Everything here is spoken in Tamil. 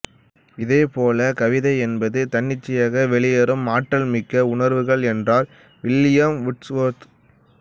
இதே போல கவிதை என்பது தன்னிச்சையாக வெளியேறும் ஆற்றல் மிக்க உணர்வுகள் என்றார் வில்லியம் வூட்சுவர்த்